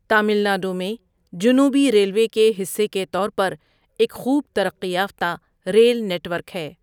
تامل ناڈو میں جنوبی ریلوے کے حصے کے طور پر ایک خوب ترقی یافتہ ریل نیٹ ورک ہے۔